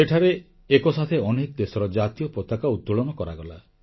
ସେଠାରେ ଏକସାଥେ ଅନେକ ଦେଶର ଜାତୀୟ ପତାକା ଉତୋଳନ କରାଗଲା